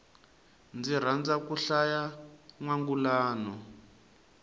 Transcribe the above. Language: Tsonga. ndzi rhandza ku hlaya nwangulano